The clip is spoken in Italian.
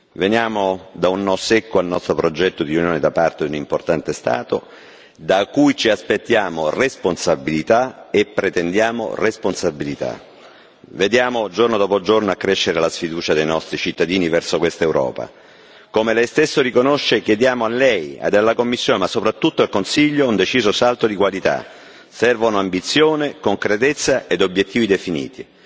Veniamo da un no secco al nostro progetto di Unione da parte di un importante Stato, da cui ci aspettiamo responsabilità e pretendiamo responsabilità. Vediamo, giorno dopo giorno, crescere la sfiducia dei nostri cittadini verso questa Europa. Come lei stesso riconosce, chiediamo a lei e alla Commissione, ma soprattutto al Consiglio, un deciso salto di qualità servono ambizione, concretezza e obiettivi definiti.